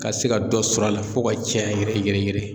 Ka se ka dɔ sɔrɔ a la fo ka caya yɛrɛ yɛrɛ yɛrɛ